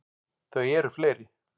Þau eru fleiri.